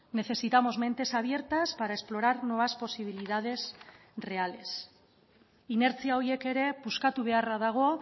necesitamos mentes abiertas para explorar nuevas posibilidades reales inertzia horiek ere puskatu beharra dago